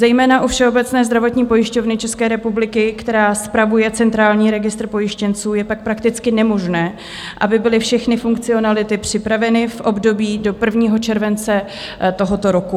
Zejména u Všeobecné zdravotní pojišťovny České republiky, která spravuje Centrální registr pojištěnců, je tak prakticky nemožné, aby byly všechny funkcionality připraveny v období do 1. července tohoto roku.